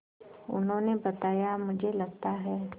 उन्होंने बताया मुझे लगता है